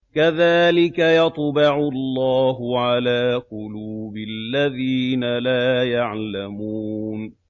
كَذَٰلِكَ يَطْبَعُ اللَّهُ عَلَىٰ قُلُوبِ الَّذِينَ لَا يَعْلَمُونَ